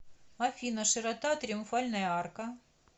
афина широта триумфальная арка